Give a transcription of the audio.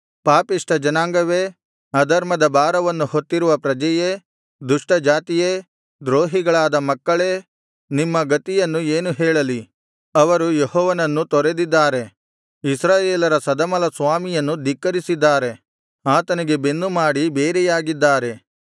ಪಾಪಿಷ್ಠ ಜನಾಂಗವೇ ಅಧರ್ಮದ ಭಾರವನ್ನು ಹೊತ್ತಿರುವ ಪ್ರಜೆಯೇ ದುಷ್ಟಜಾತಿಯೇ ದ್ರೋಹಿಗಳಾದ ಮಕ್ಕಳೇ ನಿಮ್ಮ ಗತಿಯನ್ನು ಏನು ಹೇಳಲಿ ಅವರು ಯೆಹೋವನನ್ನು ತೊರೆದಿದ್ದಾರೆ ಇಸ್ರಾಯೇಲರ ಸದಮಲಸ್ವಾಮಿಯನ್ನು ಧಿಕ್ಕರಿಸಿದ್ದಾರೆ ಆತನಿಗೆ ಬೆನ್ನು ಮಾಡಿ ಬೇರೆಯಾಗಿದ್ದಾರೆ